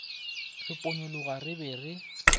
re ponyologa re be re